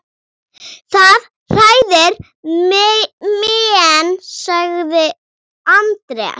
Er það oft kallað búmark.